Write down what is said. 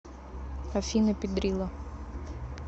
афина пидрила